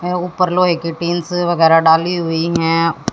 ऊपर लोहे की टीन्स वगैरा डाली हुई हैं।